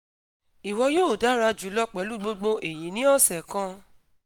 iwọ yoo dara julọ pẹlu gbogbo eyi ni ọsẹ kan